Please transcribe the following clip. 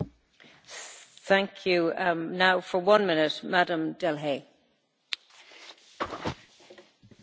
Madame la Présidente, Monsieur le Commissaire, chers collègues, nous constatons que le nombre des substances actives disponibles sur le marché diminue régulièrement.